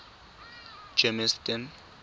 germiston